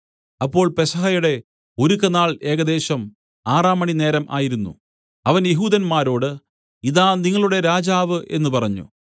അപ്പോൾ പെസഹയുടെ ഒരുക്കനാൾ ഏകദേശം ആറാം മണിനേരം ആയിരുന്നു അവൻ യെഹൂദന്മാരോട് ഇതാ നിങ്ങളുടെ രാജാവ് എന്നു പറഞ്ഞു